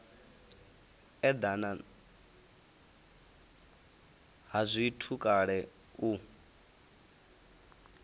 edana ha zwithu kale u